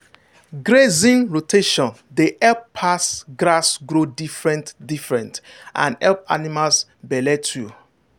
grazing rotation dey help grass grow different-different and help animals belle too.